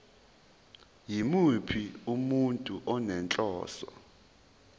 yimuphi umuntu onenhloso